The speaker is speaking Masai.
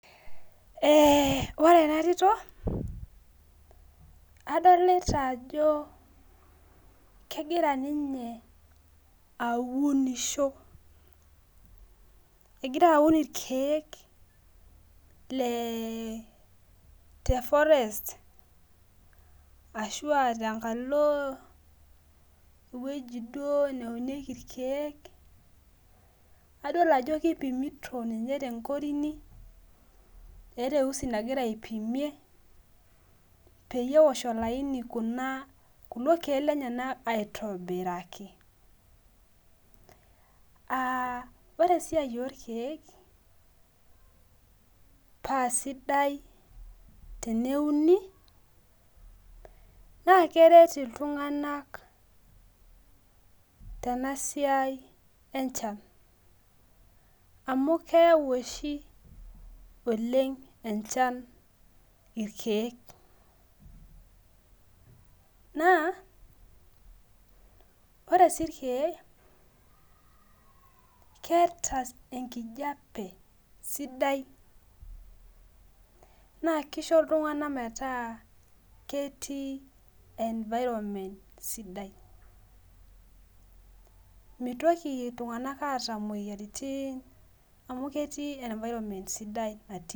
Ee ore enatito adolita ajo kegira ninye aaunisho egira aaun irkiek le te forest ashua tenkalo ewueji duo neunieki irkiek adol ajo kipimiti tenkorini eeta eusi nagira aipimie peyiebeosh olaini kulo kiek lenyenak aitobiraki ore esiai orkiek paa sidai teneuni na keret ltunganak tebasia enchan amu keyau oshi oleng enchan irkiek na oresi irkiek na keeta enkijape sidai na kisho ltunganak metaa kettii environment sidai mitoki ltunganak aata moyiaritin amu ketii environment sidai.